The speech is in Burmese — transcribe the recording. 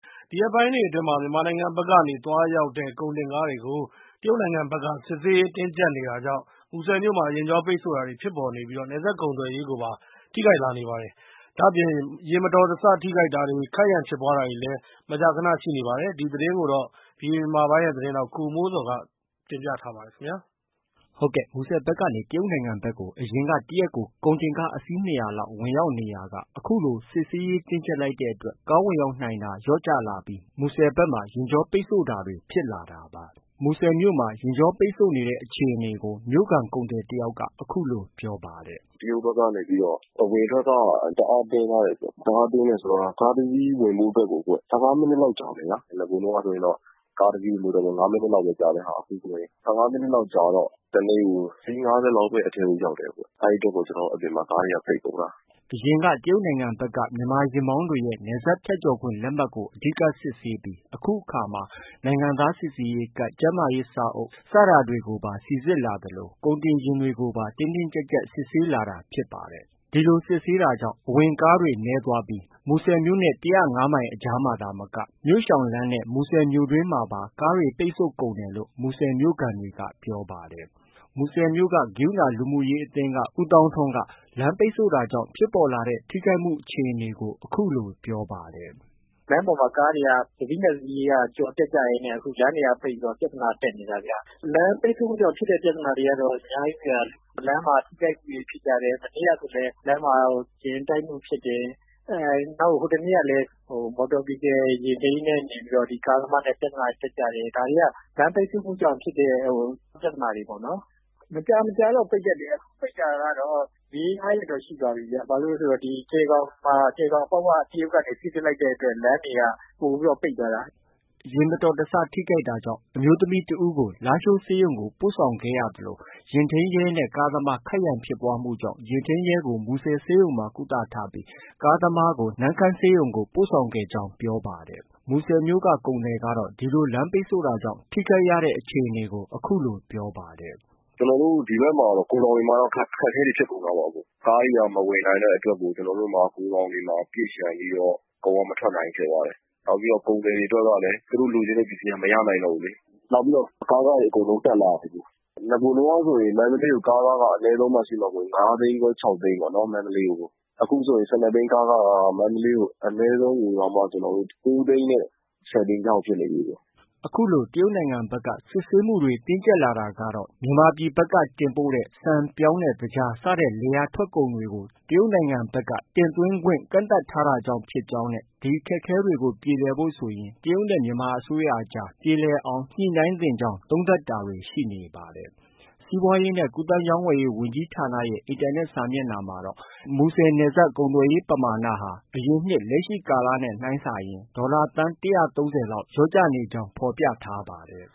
ဒီရက်ပိုင်းတွေအတွင်း မြန်မာနိုင်ငံဘက်က သွားရောက်တဲ့ ကုန်တင်ကားတွေကို တရုတ်နိုင်ငံဘက်က စစ်ဆေးရေးတင်းကျပ်နေတာကြောင့် မူဆယ်မြို့မှာ ယာဉ်ကြောပိတ်ဆို့တာတွေဖြစ်ပေါ်နေပြီး နယ်စပ်ကုန်သွယ်ရေးကိုပါ ထိခိုက်လာနေပါတယ်။ ဒါ့အပြင် ယာဉ်မတော်တဆထိခိုက်တာတွေ၊ ခိုက်ရန်ဖြစ်ပွားတာတွေကလည်း မကြာခနရှိနေပါတယ်။ ဒီသတင်းကိုတော့ ဗီအိုအေမြန်မာပိုင်းရဲ့သတင်းထောက် ကိုမိုးဇော်က တင်ပြထားပါတယ်။ ဟုတ်ကဲ့။ မူုဆယ်ဘက်ကနေ တရုတ်နိုင်ငံဘက်ကို အရင်က တရက်ကို ကားအစီး ၂၀၀လောက် ဝင်ရောက် နေရာက အခုလို စစ်ဆေးရေးတင်းကျပ်လိုက်တဲ့အတွက် ကားဝင်ရောက်နိုင်တာ လျော့ကျလာပြီး မူဆယ်ဘက်မှာ ယာဉ်ကြောပိတ်ဆို့တာတွေ ဖြစ်လာတာပါ။ မူဆယ်မြို့မှာ ယာဉ်ကြောပိတ်ဆို့ရတဲ့ အခြေအနေကို မြို့ခံ ကုန်သည်တဦးက အခုလို ပြောပါတယ်။ “ တရုတ်ဘက်ကနေပြီးတော့ အဝင်အထွက်က တအားတင်းထားတယ်။ တအားတင်းတယ်ဆိုတာက ကားတစီးဝင်ဖို့အတွက်ကို ၁၅မိနစ်လောက်ကြာမယ်ဗျာ။ အရင်တုံးကဆိုရင်တော့ ကားတစီးကို လူတကိုယ် ၅မိနစ်လောက်ပဲ ကြာတဲ့ဟာ အခုဆို ၁၅မိနစ်လောက်ကြာတော့ တနေ့ကို အစီး ၅၀လောက်ပဲ အထဲကို ရောက်တယ်။ အဲဒီအတွက်ကို အပြင်မှာ ကားတွေက ပိတ်ကုန်တာ။ ” အရင်ကတော့ တရုတ်နိုင်ငံဘက် မြန်မာ ယာဉ်မောင်းသူတွေရဲ့ နယ်စပ်ဖြတ်ကျော်ခွင့်လက်မှတ်ကို အဓိက စစ်ဆေးပြီး အခုအခါ နိုင်ငံသားစိစစ်ရေးကဒ်၊ ကျန်းမာရေးစာအုပ်စတာတွေကိုပါ စိစစ်လာသလို ကုန်တင်ယာဉ်တွေကိုပါ တင်းတင်းကျပ်ကျပ် စစ်ဆေးလာတာဖြစ်ပါတယ်။ ဒီလိုစစ်ဆေးတာကြောင့် အဝင်ကားတွေနည်းသွားပြီး မူဆယ်မြို့ ၁၀၅မိုင်အကြားမှာ သာမက မြို့ရှောင်လမ်းနဲ့ မူဆယ်မြို့တွင်းမှာပါ ကားတွေ ပိတ်ကုန်တယ်လို့ မူဆယ်မြို့ခံတွေက ပြောပါတယ်။ မူဆယ်မြို့က ကရုဏာ လူမှုရေးအသင်းက ဦးသောင်းထွန်းက လမ်းပိတ်ဆို့တာကြောင့် ဖြစ်ပေါ်လာတဲ့ ထိခိုက်မှုအခြေအနေတွေကို အခုလို ပြောပါတယ်။ “ လမ်းပေါ်မှာ ကားတွေက တစီးနဲ့ တစီးကျော်တက်ကြရင်းနဲ့ လမ်းတွေကပိတ်ပြီးတော့ အခု ပြဿနာတက်နေတာဗျ။ လမ်းပိတ်ဆို့တာကြောင့် ဖြစ်တဲ့ ပြဿနာတွေကတော့ အများကြီးဗျ။ လမ်းမှာ ထိခိုက်မှုတွေဖြစ်ကြတယ်။ မနေ့ကဆိုလည်း လမ်းမှာ ယာဉ်တိုက်မှုဖြစ်တယ်။ ဟိုတနေ့ကလည်း ယာဉ်ထိန်းရဲနဲ့ ကားသမားနဲ့ ပြဿနာ တက်ကြတယ်။ ဒါတွေက လမ်းပိတ်ဆို့မှုကြောင့် ဖြစ်တဲ့ ပြဿနာတွေပေ့ါနော်။ မကြာမကြာတော့ ပိတ်တတ်တယ်။ အခုပိတ်တာကတော့ ၄- ၅ရက်တော့ ရှိသွားပြီဗျ။ ဘာဖြစ်လို့လည်း ဆိုတော့ကြယ်ဂေါင်မှာ ကြယ်ဂေါင်အပေါက်ဝက တရုတ်ကနေ စိစစ်လိုက်တဲ့အတွက် လမ်းတွေက ပိုပြီးတော့ ပိတ်သွားတာ။ ” ယာဉ်မတော်တဆထိခိုက်တာကြောင့် အမျိုးသမီးတဦးကို လားရှိုးဆေးရုံကို ပို့ဆောင်ခဲ့ရသလို ယာဉ်ထိန်းရဲနဲ့ ကားသမား ခိုက်ရန်ဖြစ်ပွားမှုကြောင့် ယာဉ်ထိန်းရဲကို မူဆယ်ဆေးရုံမှာ ကုသထားပြီး ကားသမားကိုတော့ နမ့်ခမ်းဆေးရုံကို ပို့ဆောင်ထားကြောင်း ပြောပါတယ်။ မူဆယ်မြို့က ကုန်သည်ကတော့ ဒီလို လမ်းပိတ်ဆို့တာကြောင့် ထိခိုက်ရတဲ့အခြေအနေကို အခုလို ပြောပါတယ်။ “ ကျနော်တို့ ဒီဘက်ကမှာတော့ ဂိုဒေါင်တွေမှာတော့ အခက်အခဲတွေ ဖြစ်ကုန်တာပေါ့။ ကားတွေက မဝင်နိုင်တဲ့အတွက်ကို ကျနော်တို့ ဂိုဒေါင်တွေမှာ ပြည့်လျံပြီးတော့ ကုန်က မထွက်နိုင်ဘူးဖြစ်သွားတယ်။ နောက် ကုန်သည်တွေအတွက်က သူတို့လိုချင်တဲ့ ပစ္စည်းက မရနိုင်တော့ဘူးလေ။ နောက်ပြီးတော့ ကားခတွေ အကုန်လုံးတက်လာတယ်။ နဂိုတုံးကဆို ကားခက မန္တလေးကို ကားခက ၅သိန်းခွဲ၊ ၆သိန်းပေါ့။ မန္တလေးကို ။ အခုဆိုရင် ၁၂ဘီးကားခက မန္တလေးကို ၉သိန်းနဲ့ ၁၀သိန်းကြားဖြစ်နေပြီ။ ” အခုလို တရုတ်ဘက်က စစ်ဆေးမှုတင်းကျပ်လာတာကတော့ မြန်မာပြည်က တင်ပို့တဲ့ ဆန်၊ ပြောင်းနဲ့ သကြား စတဲ့ လယ်ယာထွက်ကုန်တွေကို တရုတ်နိုင်ငံဘက်က တင်သွင်းခွင့် ကန့်သတ်ထားတာကြောင့်ဖြစ်ကြောင်းနဲ့ ဒီအခက်အခဲတွေ ပြေလည်ဖို့ ဆိုရင် တရုတ်နဲ့ မြန်မာအစိုးရအကြား ပြေလည်အောင် ညှိနှိုင်းသင့်ကြောင်းသုံးသပ်တာတွေ ရှိနေပါတယ်။ စီးပွားရေးနဲ့ကူးသန်းရောင်းဝယ်ရေးဝန်ကြီးဌာနရဲ့ အင်တာနက် စာမျက်နှာမှာတော့ မူဆယ်နယ်စပ် ကုန်သွယ်မှုပမာဏဟာ အရင်နှစ် လက်ရှိကာလနဲ့နှိုင်းစာရင် ဒေါ်လာသန်း ၁၃၀လောက်လျော့ကျနေကြောင်း ဖော်ပြထားပါတယ်